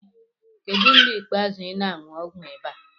Kedu mgbe ikpeazụ ị na-aṅụ ọgwụ ịba?